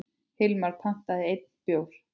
Hilmar pantaði enn einn bjór.